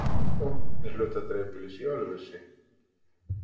Hún þjónar einnig hluta dreifbýlis í Ölfusi